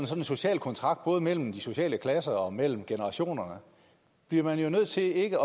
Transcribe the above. sådan social kontrakt både mellem de sociale klasser og mellem generationerne bliver man jo nødt til ikke